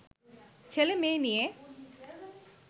ছেলে-মেয়ে নিয়ে